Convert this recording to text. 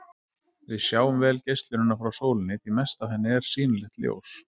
Við sjáum vel geislunina frá sólinni, því mest af henni er sýnilegt ljós.